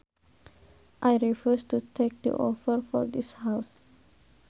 I refuse to take the offer for this house